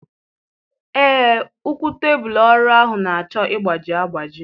Ee, ụkwụ tebụlụ ọrụ ahụ na-achọ ịgbaji agbaji.